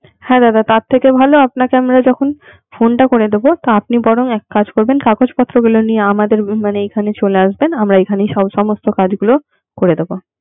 হ্যা দাদা তার থেকে ভালো আপনাকে আমরা যখন ফোনটা করে দিবো তা আপনি বরং এক কাজ করবেন, কাগজপত্র গুলো নিয়ে আমাদের বীমার এখানে চলে আসবেন আমরা এখানে সমস্ত কাজগুলো করে দিবে।